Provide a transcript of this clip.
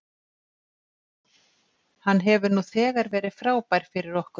Hann hefur nú þegar verið frábær fyrir okkur.